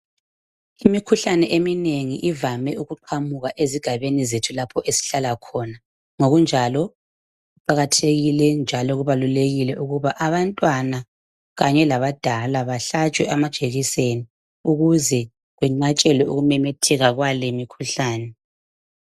Imikhuhlane eminengi ivame ukuqhamuka ezigabeni zethu lapho esihlala khona ngokunjalo kuqakathekile njalo kubalulekile ukuba abantwana kanye labadala bahlatshwe amajekiseni ukuze kwenqatshelwe ukumemetheka kwale imikhuhlane.